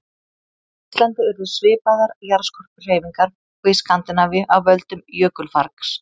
Á Íslandi urðu svipaðar jarðskorpuhreyfingar og í Skandinavíu af völdum jökulfargs.